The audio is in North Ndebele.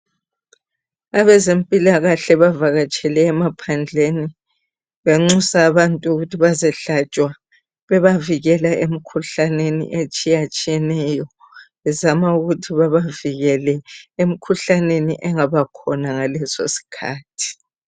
Abezempilakahle bavakatshele emaphandleni banxusa abantu ukuthi bazehlatshwa bebavikela emikhuhlaneni etshiyatshiyaneyo bezama ukuthi bebavikele emikhuhlaneni engabakhona ngalesosikhathi